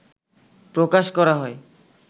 প্রকাশ করা হয়